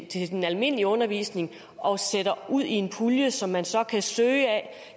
til den almindelige undervisning og sætter i en pulje som man så kan søge af